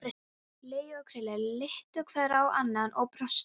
Laugi og Krilli litu hvor á annan og brostu.